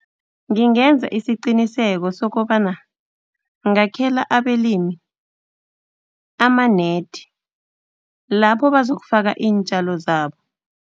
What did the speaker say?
Ngingenza isiqiniseko sokobana ngakhela abalimi ama-net, lapho bazokufaka iintjalo zabo.